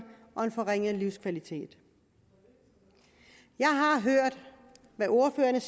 og en forringet livskvalitet jeg har hørt hvad ordførerne